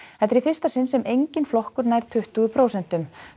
þetta er í fyrsta sinn sem enginn flokkur nær tuttugu prósentum